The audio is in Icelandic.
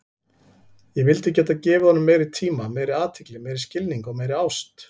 Ég vildi geta gefið honum meiri tíma, meiri athygli, meiri skilning og meiri ást.